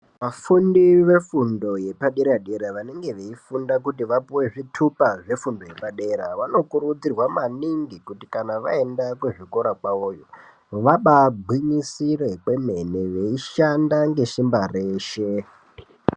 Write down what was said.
Vafundi vefundo yepa dera dera vanenge veyifunda kuti vapiwe zvitupa zvefundo yepadera vanokurudzirwa maningi kuti kana vaenda kuzvikora kwavoyo vabagwinyisire kwemwene veishanda ngeshimba reshe.